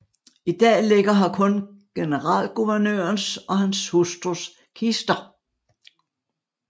I dag ligger her kun generalguvernørens og hans hustrus kister